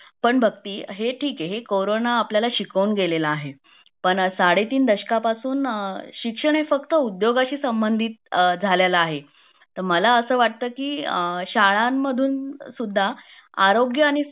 पण भक्ति हे ठीक आहे हे करोना आपल्याला शिकवून गेलेला आहे पण साडे तीन दशका पासून शिक्षण हे उद्योगाशी संबंधित झालेला आहे तर मला असा वाटतं की शाळांमधून सुद्धा आरोग्य आणि